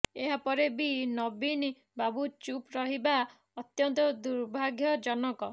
ଏହା ପରେ ବି ନବୀନ ବାବୁ ଚୁପ୍ ରହିବା ଅତ୍ୟନ୍ତ ଦୁର୍ଭାଗ୍ୟଜନକ